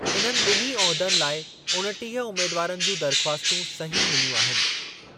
इन्हनि ॿिन्ही उहिदनि लाइ उणिटीह उमेदवारनि जूं दरख़्वास्तूं सही मिलियूं आहिनि।